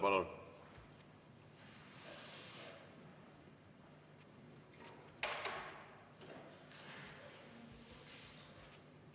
Palun!